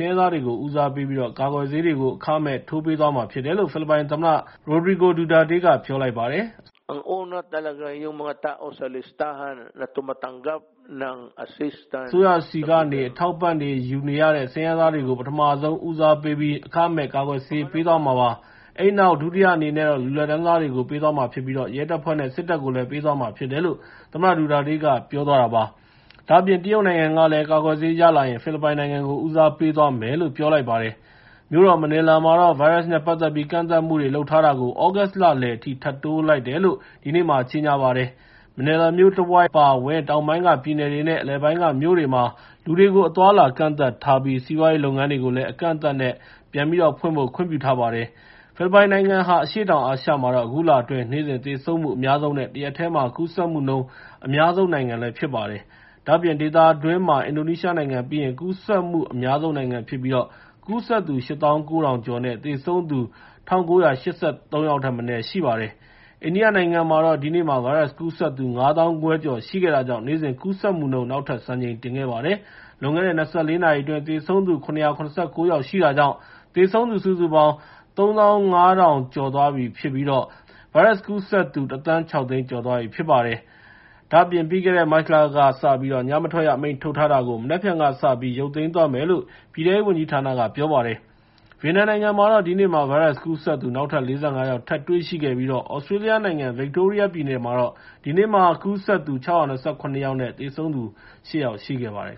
င်းရဲသားတွေကို ဦးစားပေးပြီးတော့ ကာကွယ်ဆေး အခမဲ့ ထိုးပေးသွားမှာဖြစ်တယ်လို့ ဖိလစ်ပိုင်သမ္မတ ဒူတာတေးက ပြောလိုက်ပါတယ်။ “အစိုးရဆီကနေ အထောက်အပံ့တွေ ယူနေရတဲ့ ဆင်းရဲသားတွေကို ပထမဆုံး ဦးစားပေးပြီး အခမဲ့ ကာကွယ်ဆေးတွေ ပေးသွားမှာပါ။ အဲဒီနောက် ဒုတိယအနေနဲ့ လူလတ်တန်းစားတွေကို ပေးသွားမှာဖြစ်ပြီး ရဲတပ်ဖွဲ့နဲ့ စစ်တပ်ကိုလည်း ပေးသွားမှာဖြစ်တယ်။" လို့ သမ္မတဒူတာတေးက ပြောပါတယ်။ မြို့တော်မနီလာမှာတော့ ဗိုင်းရပ်စ်နဲ့ ပတ်သက်ပြီး ကန့်သတ်မှုတွေ လုပ်ထားတာကို သြဂုတ်လလည်အထိ ထပ်တိုးလိုက်တယ်လို့ ဒီနေ့မှာ ကြေငြာပါတယ်။ မနီလာမြို့တဝိုက်အပါအဝင် တောင်ပိုင်းကပြည်နယ်တွေနဲ့ အလယ်ပို်င်းကမြို့တွေမှာ လူတွေကို အသွားအလာကန့်သတ်ထားပြီ စီးပွားရေးလုပ်ငန်းတွေကိုလည်း အကန့်အသတ်နဲ့ ဖွင့်ခွင့်ပြုထားပါတယ်။ ဖိလစ်ပိုင်နိုင်ငံဟာ အရှေ့တောင်အာရှမှာတော့ အခုလအတွင်း နေ့စဉ်သေဆုံးမှု အများဆုံး နဲ့ တရက်တည်း ကူးစက်မှုနှုန်း အများဆုံး နိုင်ငံဖြစ်ပါတယ်။ ဒါ့အပြင် ဒေသတွင်းမှာ အင်ဒိုနီးရှားပြီးရင် ကူးစက်မှုအများဆုံးနိုင်ငံဖြစ်ပြီး ကူးစက်သူ ၈၉,၀၀၀ ကျော်နဲ့ သေဆုံးသူ ၁,၉၈၃ ယောက်ထက်မနည်း ရှိပါတယ်။ အိန္ဒိယနိုင်ငံမှာတော့ ဒီနေ့မှာ ဗိုင်းရပ်စ်ကူးစက်သူ ၅၅,၀၀၀ ကျော်ရှိခဲ့တာကြောင့် နေ့စဉ်ကူးစက်မှုနှုန်း နောက်ထပ်စံချိန်တင်ခဲ့ပါတယ်။ လွန်ခဲ့တဲ့ ၂၄ နာရီအတွင်း သေဆုံးသူ ၇၇၉ ယောက်ရှိတာကြောင့် သေဆုံးသူစုစုပေါင်း ၃၅,၇၄၇ ယောက်နဲ့ ဗိုင်းရပ်စ်ကူးစက်သူ ၁,၆၀၀,၀၀၀ ကျော်သွားပြီဖြစ်ပါတယ်။ ဒါ့အပြင် ပြီးခဲ့တဲ့ မတ်လကစပြီး ညမထွက်ရအမိန့်ထုတ်ထားတာကို မနက်ဖြန်ကစပြီး ရုပ်သိမ်းသွားမယ်လို့ အိန္ဒိယ ပြည်ထဲရေးဝန်ကြီးဌာနက ပြောပါတယ်။ ဗီယက်နမ်နိုင်ငံမှာတော့ ဒီနေ့မှာ ဗိုင်းရပ်စ်ကူးစက်သူ နောက်ထပ် ၄၅ ယောက် ထပ်တွေ့ရှိခဲ့ပြီး သြစတြေးလျနိုင်ငံ ဗစ်တိုးရီးယားပြည်နယ်မှာတော့ ဒီနေ့မှာ ကူးစက်သူ ၆၂၇ ယောက် သေဆုံးသူ ရှစ် ယောက်ရှိခဲ့ပါတယ်